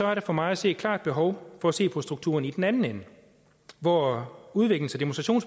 er der for mig at se et klart behov for at se på strukturen i den anden ende hvor udviklings og